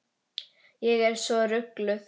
Ég er svo rugluð.